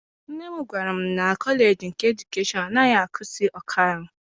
Nne m gwara m na kọleji nke edukeshọn anaghị akuzi ọkaiwu.